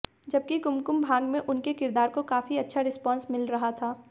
जबकि कुमकुम भाग्य में उनके किरदार को काफी अच्छा रिस्पॉन्स मिल रहा था